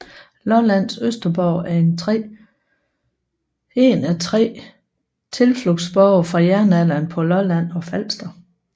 Lollands Østerborg er en af 3 tilflugtsborge fra jernalderen på Lolland og Falster